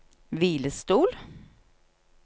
hvilestol